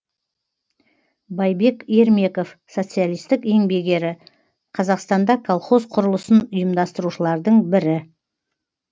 байбек ермеков социалистік еңбек ері қазақстанда колхоз құрылысын ұйымдастырушылардың бірі